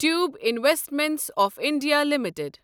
tube investments of India limited